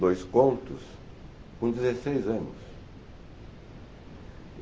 dois contos com dezesseis anos. E